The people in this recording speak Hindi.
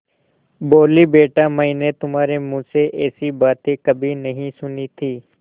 बोलीबेटा मैंने तुम्हारे मुँह से ऐसी बातें कभी नहीं सुनी थीं